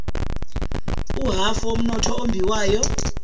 uhhafu womnotho ombiwayo